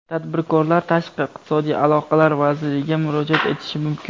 Tadbirkorlar Tashqi iqtisodiy aloqalar vaziriga murojaat etishi mumkin.